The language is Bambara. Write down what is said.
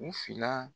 U fila